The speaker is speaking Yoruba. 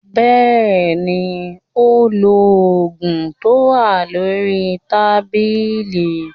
Bẹ́ẹ̀ni, ó lo ògùn tó wà lórí tábìlì